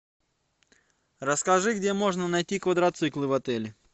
расскажи где можно найти квадроциклы в отеле